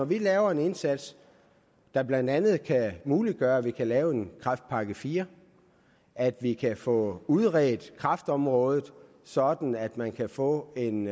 vi laver en indsats der blandt andet muliggør at vi kan lave en kræftpakke fire at vi kan få udredt kræftområdet sådan at man kan få en